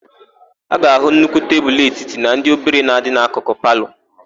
A ga-áhụ̀ nnukwu tebulu etiti na ndị obere na-adị n'akụkụ na palọ.